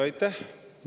Aitäh!